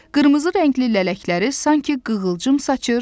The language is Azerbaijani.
Qırmızı rəngli lələkləri sanki qığılcım saçır.